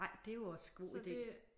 Ej det er jo også god ide